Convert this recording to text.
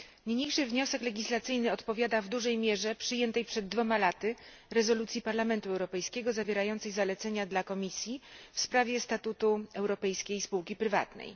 Niniejszy wniosek legislacyjny odpowiada w dużej mierze przyjętej przed dwoma laty rezolucji Parlamentu Europejskiego zawierającej zalecenia dla Komisji w sprawie statutu europejskiej spółki prywatnej.